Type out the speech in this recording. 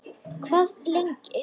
Hvað lengi